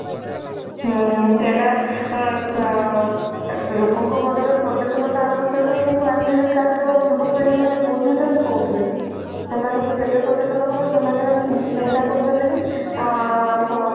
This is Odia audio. ହୁଁ ସେଇଟା ଅ ଲୋକ ଙ୍କ ମନ ରେ ସଚେତନତା ଆବଶ୍ୟକ କିନ୍ତୁ ଆଜି କାଲି ର ଯୁବପିଢୀ ମାନେ ବୁଝୁଛନ୍ତି କଉଠି। ସେମାନଙ୍କୁ ଯେତେ ସଚେତନ କର ସେମାନେ ଚିନ୍ତା କରୁଛନ୍ତି କି ଆ ହ